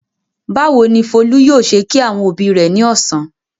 Báwo ni Folú yóò ṣe kí àwọn òbí rẹ̀ ní ọ̀sán?